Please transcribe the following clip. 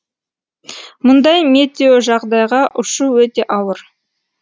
мұндай метеожағдайға ұшу өте ауыр